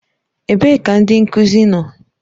Ebee ka ndị nkuzi nọ?